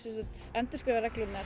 endurskrifa reglurnar